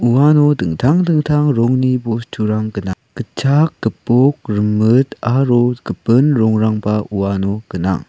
uano dingtang dingtang rongni bosturang gnang gitchak gipok rimit aro gipin rongrangba uano gnang.